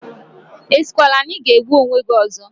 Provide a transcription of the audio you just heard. Asikwala na ị ga-egbu onwe gi ozo!